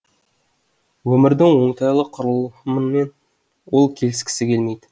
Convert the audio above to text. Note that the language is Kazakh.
өмірдің оңтайлы құрылымымен ол келіскісі келмейді